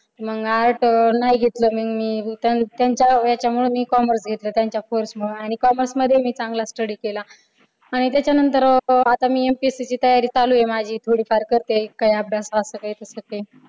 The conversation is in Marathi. मग arts नाही घेतल मी मी त्यांच्या ह्याच्यामुळं मी commerce घेतलं त्यांच्या force मुळं आणि commerce मध्ये मी चांगला study केला आणि त्याच्या नंतर अह मी माझी MPSC ची तयारी चालू आहे माझी थोडेफार करते काही अभ्यास काय